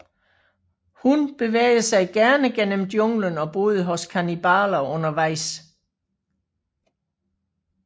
Hun bevægede sig gerne gennem junglen og boede hos kannibaler undervejs